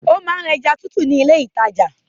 Ó ma ń ra ẹja tútù ni ile ìtajà.